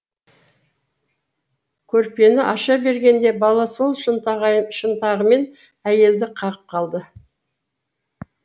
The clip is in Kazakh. көрпені аша бергенде бала сол шынтағымен әйелді қағып қалады